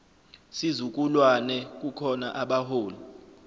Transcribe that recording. sizukulwane kukhona abaholi